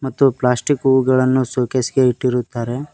ಮತ್ತು ಪ್ಲಾಸ್ಟಿಕ್ ಹೂಗಳನ್ನು show case ಗೆ ಇಟ್ಟಿರುತ್ತಾರೆ.